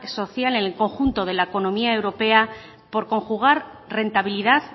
social en el conjunto de la economía europea por conjugar rentabilidad